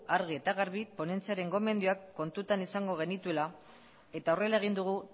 argi eta garbi ponentziaren gomendioak kontutan izango genituela eta horrela egin dugu